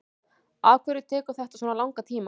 afhverju tekur þetta svona langan tíma